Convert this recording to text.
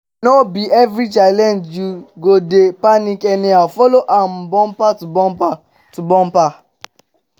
no bi evri challenge yu go dey panic anyhow follow am bumper to bumper to bumper